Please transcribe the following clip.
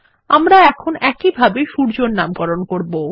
আমরা এখন একই ভাবে সূর্যের নামকরণ করব